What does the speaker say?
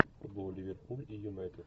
футбол ливерпуль и юнайтед